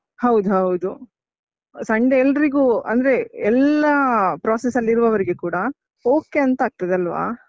ಹೌದದು, Sunday ಎಲ್ರಿಗೂ, ಅಂದ್ರೆ ಎಲ್ಲಾ process ಅಲ್ಲಿರುವವ್ರಿಗೆ ಕೂಡ okay ಅಂತ ಆಗ್ತದಲ್ವಾ?